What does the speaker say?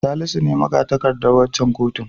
Salisu ne maga-takardar waccan kotun.